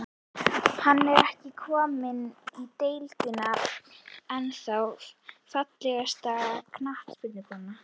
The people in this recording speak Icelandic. Hann er ekki kominn í deildina, ennþá Fallegasta knattspyrnukonan?